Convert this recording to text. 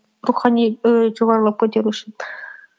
рухани ііі жоғарылап көтеру үшін